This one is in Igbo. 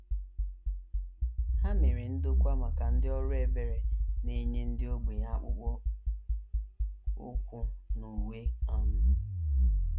Ha mere ndokwa maka ndị ọrụ ebere na - enye ndị ogbenye akpụkpọ ụkwụ na uwe um.